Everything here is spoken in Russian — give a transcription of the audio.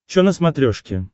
че на смотрешке